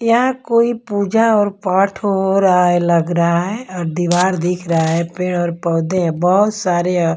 यहां कोई पूजा और पाठ हो रहा है लग रहा है और दीवार दिख रहा है पेड़ और पौधे बहोत सारे--